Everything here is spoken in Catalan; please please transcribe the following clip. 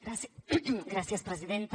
gràcies presidenta